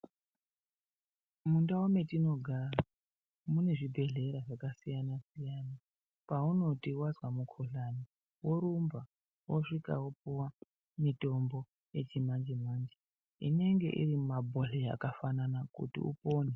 Mundau mwetinogara munezvibhehlera zvakasiyana siyana panoti wazwa mukuhlani worumba wosvika wopuwa mutombo yechimanje manje inenge iri mumabhohleya akafana kuti upone .